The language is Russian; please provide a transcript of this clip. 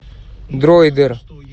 дроидер